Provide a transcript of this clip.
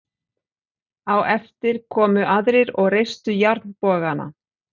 Á eftir komu aðrir og reistu járnbogana.